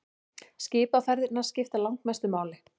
Skipaferðirnar skipta langmestu máli.